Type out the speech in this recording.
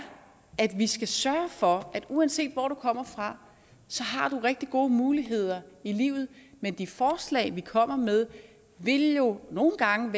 at vi skal sørge for at uanset hvor du kommer fra har du rigtig gode muligheder i livet men de forslag vi kommer med vil jo nogle gange